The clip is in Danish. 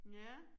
Ja